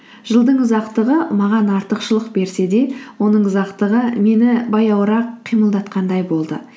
жылдың ұзақтығы маған артықшылық берсе де оның ұзақтығы мені баяуырақ қимылдатқандай болды